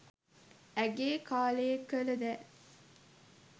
ඇයගේ කාලයේ කල දෑ